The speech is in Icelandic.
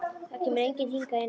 Það kemur enginn hingað í nótt.